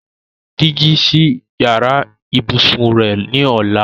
Ó máa ra dígí sí yàrá ìbùsùn rẹ ní ọ̀la.